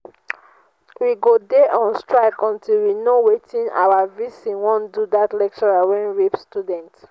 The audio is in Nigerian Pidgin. we go dey on strike until we know wetin our vc wan do dat lecturer wey rape student